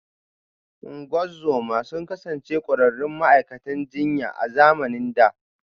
Ungozoma sun kasance ƙwararrun ma’aikatan jinya a zamanin da